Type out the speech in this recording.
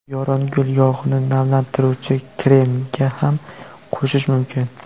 Yorongul yog‘ini namlantiruvchi kremga ham qo‘shish mumkin.